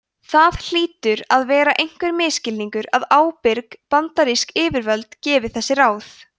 það hlýtur að vera einhver misskilningur að ábyrg bandarísk yfirvöld gefi þessi ráð